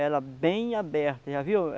Ela bem aberta, já viu?